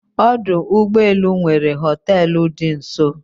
Ọdụ ụgbọ elu nwere hoteelu dị nso